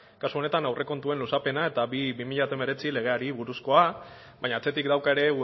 kasu honetan aurrekontuen luzapena eta bi mila hemeretzi legeari buruzkoa baina atzetik dauka ere